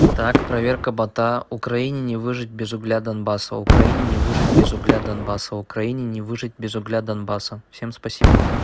так проверка бота украине выжить без угля донбасса украине не выжить без угля донбасса украине не выжить без угля донбасса всем спасибо